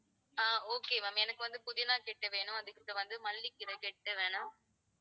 அஹ் okay ma'am எனக்கு வந்து புதினா கட்டு வேணும் அதுக்கப்பறம் மல்லிக்கீரை கட்டு வேணும்.